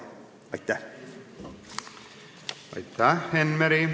Aitäh, Enn Meri!